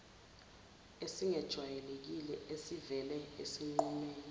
esingejwayelekile esivele esinqumeni